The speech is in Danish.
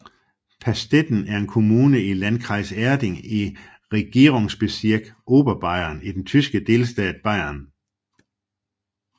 Pastetten er en kommune i Landkreis Erding i Regierungsbezirk Oberbayern i den tyske delstat Bayern